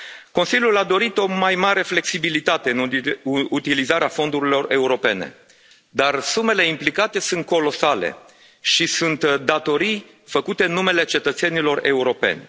Consiliul a dorit o mai mare flexibilitate în utilizarea fondurilor europene, dar sumele implicate sunt colosale și sunt datorii făcute în numele cetățenilor europeni.